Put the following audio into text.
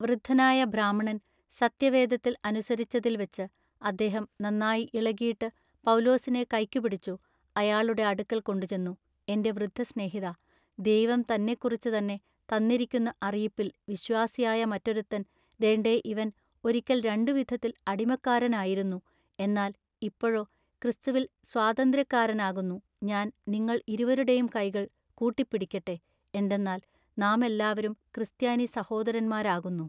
വൃദ്ധനായ ബ്രാഹ്മണൻ സത്യവേദത്തിൽ അനുസരിച്ചതിൽവച്ച് അദ്ദേഹം നന്നായി ഇളകീട്ട് പൗലൂസിനെ കയ്ക്കു പിടിച്ചു അയാളുടെ അടുക്കൽ കൊണ്ടുചെന്നു എന്റെ വൃദ്ധസ്നേഹിതാ ദൈവം തന്നെക്കുറിച്ചുതന്നെ തന്നിരിക്കുന്ന അറിയിപ്പിൽ വിശ്വാസിയായ മറ്റൊരുത്തൻ ദേണ്ടെഇവൻ ഒരിക്കൽ രണ്ടുവിധത്തിൽ അടിമക്കാരനായിരുന്നു എന്നാൽ ഇപ്പഴൊ ക്രിസ്തുവിൽ സ്വാതന്ത്ര്യക്കാരനാകുന്നു ഞാൻ നിങ്ങൾ ഇരുവരുടെയും കൈകൾ കൂട്ടിപ്പിടിക്കട്ടെ എന്തെന്നാൽ നാമെല്ലാവരും ക്രിസ്ത്യാനി സഹോദരന്മാരാകുന്നു.